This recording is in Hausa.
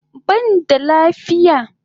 Ban da lafiya